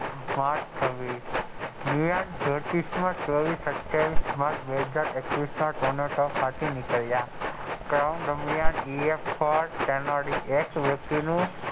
March છવ્વીસ ના જ્યોતીસ ના donald trump સાથે નીકળ્યા સેનાએ વળી એક્સ વય્ક્તિ નું,